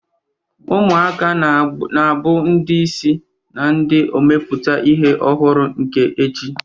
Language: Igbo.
Ụmụaka ga-abụ ndị isi na ndị na-emepụta ihe ọhụrụ nke echi.